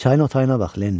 Çayın otayına bax, Lenni.